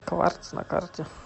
кварц на карте